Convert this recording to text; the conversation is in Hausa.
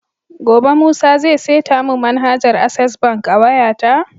Gobe musa zai seta mun manhajar access bank a wayata?